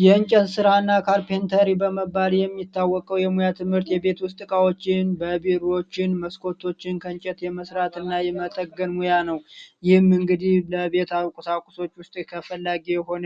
የእንጨት ስራና ካርፔንተሪ በመባል የሚታወቀው የሙያ ትምህርት የቤት ውስጥ እቃወችን የቢሮ በሮችን መስኮቶችን ከእንጨት የመስራትና የመጠገን ሙያ ነው። ይህም እንግዲህ የቤት ቁሶችን ለማሟላት ተፈላጊ የሆነ